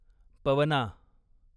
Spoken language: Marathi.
पवना